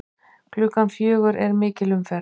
Klukkan fjögur er mikil umferð.